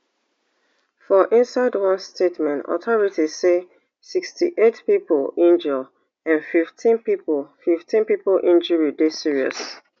for inside one statement authorities say sixty-eight pipo injure and fifteen pipo fifteen pipo injury dey serious